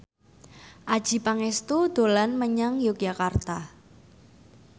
Adjie Pangestu dolan menyang Yogyakarta